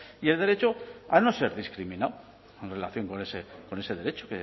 y el derecho a no ser discriminado en relación con ese derecho